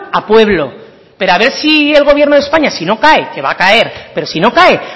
a pueblo pero a ver si el gobierno de españa si no cae que va a caer pero si no cae